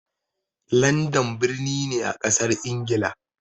Landan birni ne a ƙasar ingila